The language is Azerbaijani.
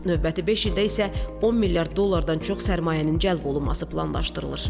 Növbəti beş ildə isə 10 milyard dollardan çox sərmayənin cəlb olunması planlaşdırılır.